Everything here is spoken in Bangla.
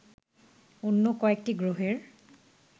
অন্য কয়েকটি গ্রহের